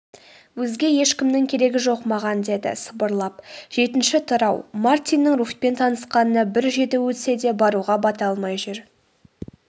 өзге ешкімнің керегі жоқ маған деді сыбырлап.жетінші тарау мартиннің руфьпен танысқанына бір жеті өтсе де баруға бата алмай жүр